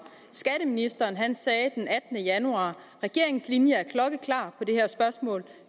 skatteministeren sagde den attende januar regeringens linje er klokkeklar